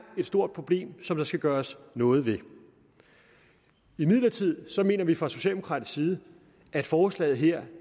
et stort problem som der skal gøres noget ved imidlertid mener vi fra socialdemokratisk side at forslaget her